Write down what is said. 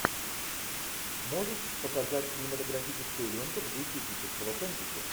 можешь показать кинематографическую ленту в духе эпического фэнтези